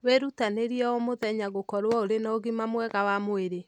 Wĩrutanĩrie o mũthenya gũkorwo ũrĩ na ũgima mwega wa mwĩrĩ.